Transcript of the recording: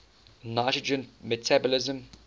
nitrogen metabolism